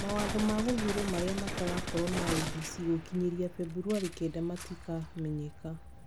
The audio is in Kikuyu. Mawatho ma gũthuurwo marĩa matagakorwo na IEBC gũkinyĩria Februarĩ kenda matikamenyeka.